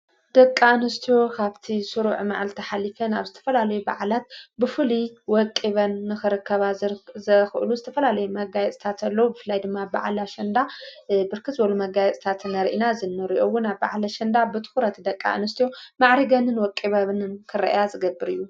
ደቃ እንስትዎ ኻብቲ ሥሩዕ መዓልተኃሊፈን ኣብ ዝተፈላለዩ በዕላት ብፉል ወቂበን ንኽረከባ ዘኽእሉ ዝተፈላለይ መጋይ እዝታተሎ እፍላይ ድማ ብብዓላሽንዳ ብርክዝበሉ መጋይት እዝታተ ነርኢና ዘንርዮውን ኣብ ባዕለ ሸንዳ ብትዂረት ደቃ እንስትዮ ማዕሪገንን ወቂበብንን ክርእያ ዝገብር እዩ።